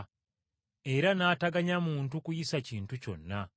Era n’ataganya muntu kuyisa kintu kyonna.